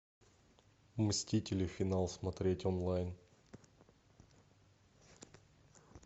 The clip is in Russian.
мстители финал смотреть онлайн